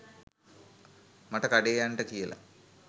මට කඩේ යන්ට කියල